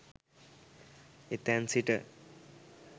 එතැන් සිට